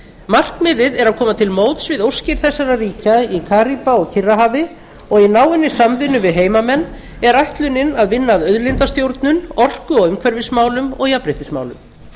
markmiðið er að koma til móts við óskir þessara ríkja í karíba og kyrrahafi og í náinni samvinnu við heimamenn er ætlunin að vinna að auðlindastjórnun orku og umhverfismálum og jafnréttismálum